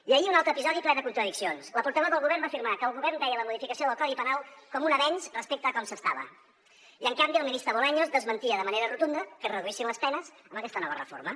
i ahir un altre episodi ple de contradiccions la portaveu del govern va afirmar que el govern veia la modificació del codi penal com un avenç respecte a com s’estava i en canvi el ministre bolaños desmentia de manera rotunda que es reduïssin les penes amb aquesta nova reforma